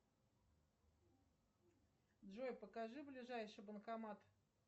джой покажи ближайший банкомат